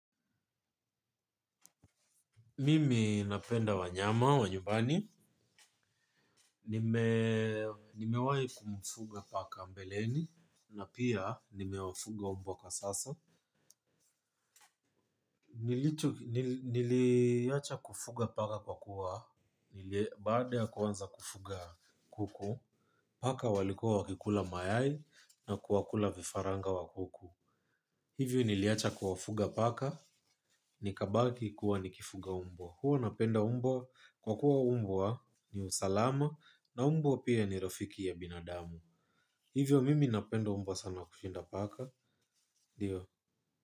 Mimi napenda wanyama, wanyumbani. Nimewahi kumfuga paka mbeleni na pia nimewafuga mbwa kwa sasa. Niliacha kufuga paka kwa kuwa, baada ya kuanza kufuga kuku, paka walikua wakikula mayai na kuwakula vifaranga wakuku. Hivyo niliacha kuwafuga paka ni kabakii kuwa nikifuga mbwa. Huwa napenda mbwa kwa kuwa mbwa ni usalama na mbwa pia ni rafiki ya binadamu. Hivyo mimi napenda mbwa sana kushinda paka. Ndio.